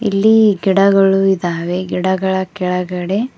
ಇಲ್ಲಿ ಗಿಡಗಳು ಇದಾವೆ ಗಿಡಗಳ ಕೆಳಗಡೆ--